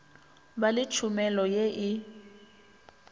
ba le tšhomelo ye e